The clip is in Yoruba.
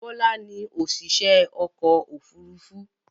Bọ́lá ni òṣìṣẹ́ ọkọ̀-òfurufú.